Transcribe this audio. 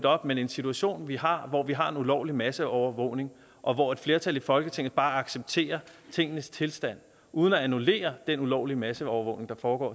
op men den situation vi har hvor vi har en ulovlig masseovervågning og hvor et flertal i folketinget bare accepterer tingenes tilstand uden at annullere den ulovlige masseovervågning der foregår